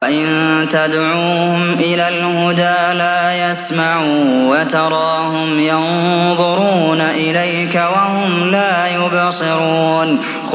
وَإِن تَدْعُوهُمْ إِلَى الْهُدَىٰ لَا يَسْمَعُوا ۖ وَتَرَاهُمْ يَنظُرُونَ إِلَيْكَ وَهُمْ لَا يُبْصِرُونَ